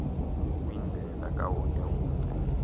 kwindlela kawonke wonke